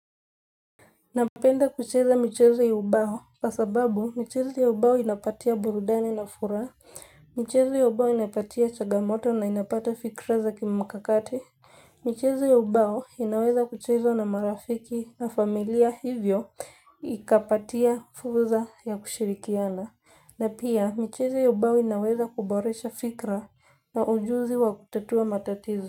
Napenda kucheza michezo ya ubao kwa sababu michezo ya ubao inanipatia burudani na furaha, michezo ya ubao inanipatia changamoto na inapata fikra za kimkakakati, michezo ya ubao inaweza kuchezwa na marafiki na familia hivyo ikapatia fursa ya kushirikiana, na pia michezo ya ubao inaweza kuboresha fikra na ujuzi wa kutatua matatizo.